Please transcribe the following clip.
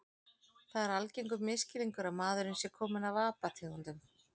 Það er algengur misskilningur að maðurinn sé kominn af apategundum.